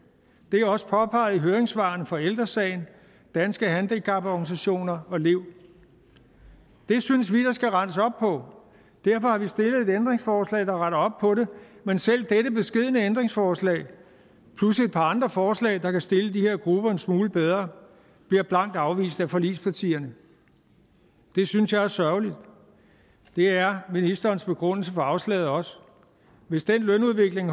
det er også påpeget i høringssvarene fra ældre sagen danske handicaporganisationer og lev det synes vi der skal rettes op på derfor har vi stillet et ændringsforslag der retter op på det men selv dette beskedne ændringsforslag plus et par andre forslag der kan stille de her grupper en smule bedre bliver blankt afvist af forligspartierne det synes jeg er sørgeligt det er ministerens begrundelse for afslaget også hvis den lønudvikling